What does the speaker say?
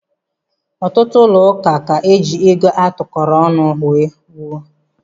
Ọtụtụ ụlọ ụka ka eji ego a tụkọọrọ ọnụ wuo.